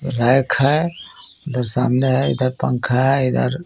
rake हे इधर सामने हे इधर पंखा हे इधर--